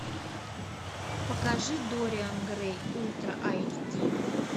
покажи дориан грей ультра айч ди